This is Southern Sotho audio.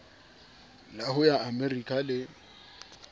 la ho ya amerika le